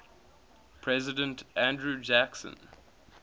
president andrew jackson